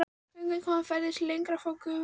Göngukonan færði sig lengra frá gufunni.